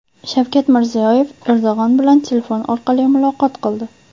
Shavkat Mirziyoyev Erdo‘g‘on bilan telefon orqali muloqot qildi.